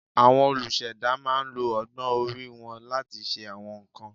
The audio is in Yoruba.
Àwọn olùṣẹ̀dá máa ń lo ọgbọ́n orí wọn láti ṣe àwọn nǹkan